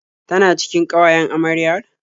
Tana cikin ƙawayen amaryar?